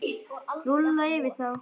Rúlla yfir þá!